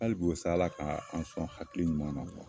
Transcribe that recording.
Halibi o sa Ala ka an sɔn hakili ɲuman na.